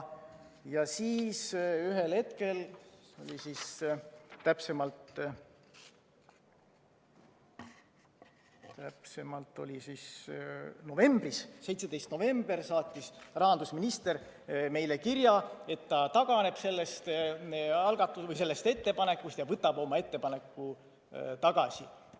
Ja siis ühel hetkel, täpsemalt novembris, 17. novembril saatis rahandusminister meile kirja, et ta taganeb sellest algatusest või sellest ettepanekust ja võtab oma ettepaneku tagasi.